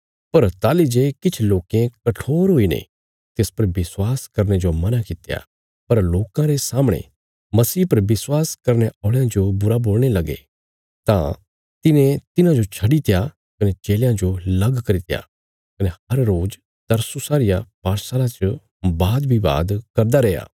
पर ताहली जे किछ लोकें कठोर हुईने तिस पर विश्वास करने जो मना किया पर लोकां रे सामणे मसीह पर विश्वास करने औल़यां जो बुरा बोलणे लगे तां तिने तिन्हांजो छड्डीत्या कने चेलयां जो लग करित्या कने हर रोज तुरन्नुसा रिया पाठशाला च वादविवाद करदा रैया